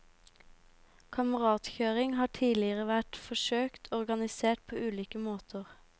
Kameratkjøring har tidligere vært forsøkt organisert på ulike måter.